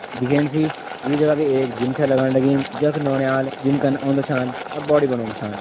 दिख्याणी सी यू जगह भी एक जिम छा लगण लगीं जख नौनियाल जिम करना औंदा छान अब बॉडी बनौणु छान।